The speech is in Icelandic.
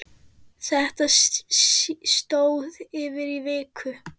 Þetta stóð yfir í viku.